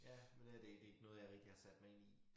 Ja men øh det det ikke noget jeg rigtig har sat mig ind i